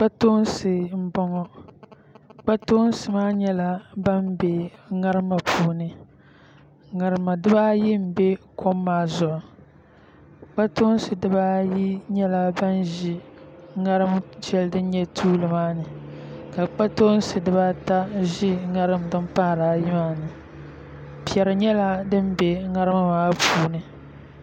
Kpatoonsi n boŋo kpatoonsi maa nyɛla bin bɛ ŋarima puuni ŋarima dibaayi n bɛ kom maa ni kpatoonsi dibaayi nyɛla ban ʒi ŋarim shɛli din nyɛ tuuli maa ni ka kpatoonsi dibaata ʒi ŋarim din pahari ayi maa ni piɛri nyɛla din bɛ ŋarima maa puuni